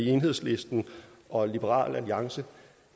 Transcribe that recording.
enhedslisten og liberal alliance